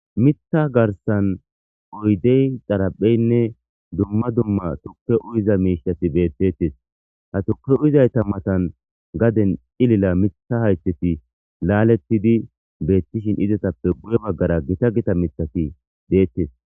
mitha garsan uydey xarapheynne dumma dumma tukke uyiza miishasi beettettes ha tuke uyizayta matan gaden ilila mitha haytheti laalettidi beettishin izatappe guye baggara gita gita mithati deettes